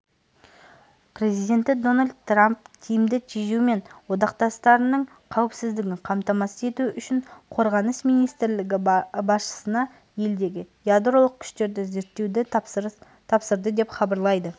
президенті дональд трамп тиімді тежеу мен одақтастарының қауіпсіздігін қамтамасыз ету үшін қорғаныс министрлігі басшысына елдегі ядролық күштерді зерттеуді тапсырды деп хабарлайды